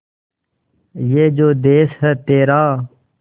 ये जो देस है तेरा